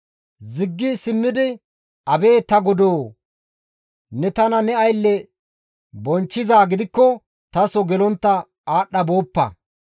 Ziggi simmidi, «Abeet ta godoo! Ne tana ne aylleza bonchchizaa gidikko taso gelontta aadhdha booppa.